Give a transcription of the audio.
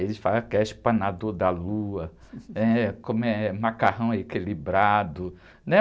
Eles falavam que era espanador da lua, eh, como é, macarrão equilibrado, né?